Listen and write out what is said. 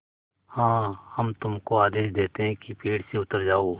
हाँ हम तुमको आदेश देते हैं कि पेड़ से उतर जाओ